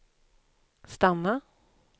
stanna